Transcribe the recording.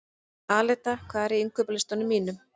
Aleta, hvað er á innkaupalistanum mínum?